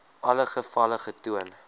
alle gevalle getoon